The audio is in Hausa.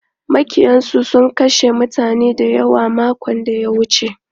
Maƙiyansu sun kashe mutane dayawa makon da ya wuce.